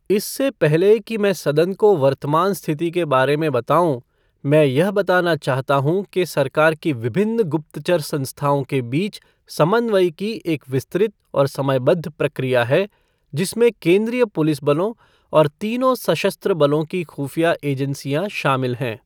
इससे पहले कि मैं सदन को वर्तमान स्थिति के बारे में बताऊँ, मैं यह बताना चाहता हूँ कि सरकार की विभिन्न गुप्तचर संस्थाओं के बीच समन्वयिकी एक विस्तृत और समयबद्ध प्रक्रिया है, जिसमें केंद्रीय पुलिस बलों और तीनों सशस्त्र बलों की खुफिया एजेंसियां शामिल हैं।